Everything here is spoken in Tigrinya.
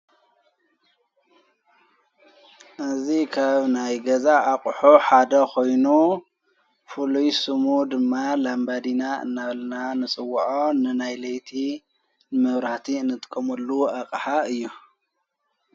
እዝ ከብ ናይ ገዛ ኣቕሑ ሓደ ኾይኑ ፍሉይሱሙ ድማ ላንበዲና እናበልና ንጽዉዖ ንናይለይቲ ምውራቲ ንትቀሙሉ ኣቕሓ እዮ።